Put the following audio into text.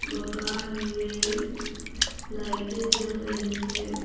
मकान में लाइटें जल रही है।